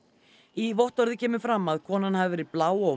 í vottorði kemur fram að konan hafi verið blá og